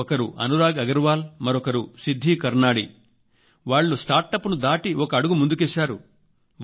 ఒకరు అనురాగ్ అగ్రవాల్ మరొకరు సిద్ధి కర్నాణీ వాళ్లు స్టార్టప్ ను దాటి ఒక అడుగు ముందు కేశారు